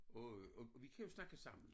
Og og vi kan jo snakke sammen